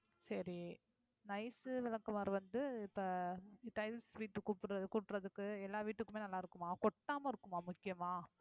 சரி nice விளக்குமாறு வந்து இப்போ tiles வீட்டுக்கு கூப்பற~ கூட்டுறதுக்கு எல்லா வீட்டுக்குமே நல்லா இருக்குமா கொட்டாமா இருக்குமா முக்கியமா